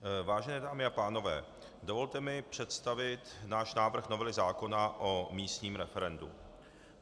Vážené dámy a pánové, dovolte mi představit náš návrh novely zákona o místním referendu.